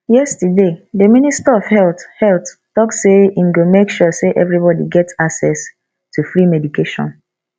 yesterday the minister of health health talk say im go make sure say everybody get access to free medication